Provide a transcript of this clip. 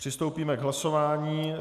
Přistoupíme k hlasování.